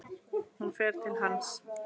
Hún fer til hans.